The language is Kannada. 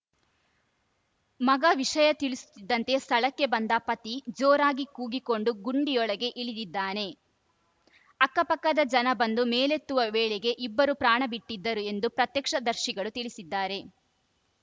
ಮಗ ವಿಷಯ ತಿಳಿಸುತ್ತಿದ್ದಂತೆ ಸ್ಥಳಕ್ಕೆ ಬಂದ ಪತಿ ಜೋರಾಗಿ ಕೂಗಿಕೊಂಡು ಗುಂಡಿಯೊಳಗೆ ಇಳಿದಿದ್ದಾನೆ ಅಕ್ಕಪಕ್ಕದ ಜನ ಬಂದು ಮೇಲೆತ್ತುವ ವೇಳೆಗೆ ಇಬ್ಬರೂ ಪ್ರಾಣ ಬಿಟ್ಟಿದ್ದರು ಎಂದು ಪ್ರತ್ಯಕ್ಷ ದರ್ಶಿಗಳು ತಿಳಿಸಿದ್ದಾರೆ